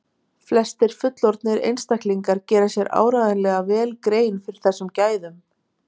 Flestir fullorðnir einstaklingar gera sér áreiðanlega vel grein fyrir þessum gæðum.